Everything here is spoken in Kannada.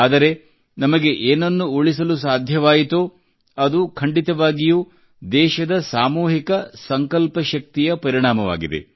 ಆದರೆ ನಮಗೆ ಏನನ್ನು ಉಳಿಸಲು ಸಾಧ್ಯವಾಯಿತೋ ಅದು ಖಂಡಿತವಾಗಿಯೂ ದೇಶದ ಸಾಮೂಹಿಕ ಸಂಕಲ್ಪಶಕ್ತಿಯ ಪರಿಣಾಮವಾಗಿದೆ